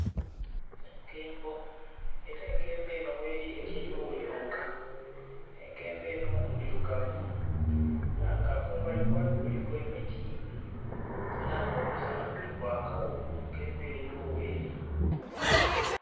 Enkembo era enkembo enho gheri erigho yonka, enkembo enho ndhirugavu era nga kumbali kwayo kuliku emiti era nga omusana guli kwaka gho enkembo eyo gheri.